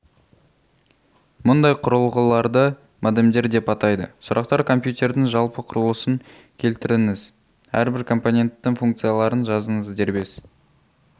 мұндай құрылғыларды модемдер деп атайды сұрақтар компьютердің жалпы құрылысын келтіріңіз әрбір компоненттің функцияларын жазыңыз дербес